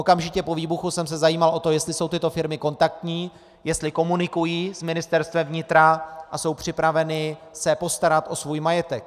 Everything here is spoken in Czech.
Okamžitě po výbuchu jsem se zajímal o to, jestli jsou tyto firmy kontaktní, jestli komunikují s Ministerstvem vnitra a jsou připraveny se postarat o svůj majetek.